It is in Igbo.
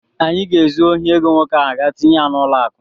Anyị ga-ezu ohi ego nwoke ahụ gaa tinye ya n'ụlọakụ.